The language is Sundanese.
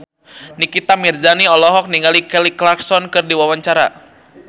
Nikita Mirzani olohok ningali Kelly Clarkson keur diwawancara